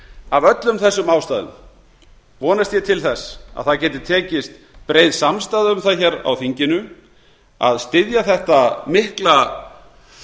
af öllum þessum ástæðum vonast ég til þess að það geti tekist breið samstaða um það hér á þinginu að styðja þetta mikla